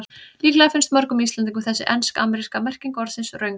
Líklega finnst mörgum Íslendingum þessi ensk-ameríska merking orðsins röng.